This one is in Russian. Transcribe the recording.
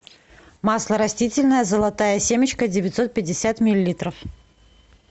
масло растительное золотая семечка девятьсот пятьдесят миллилитров